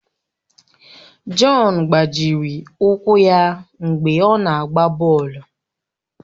Jọn gbajiri ụkwụ ya mgbe ọ na-agba bọọlụ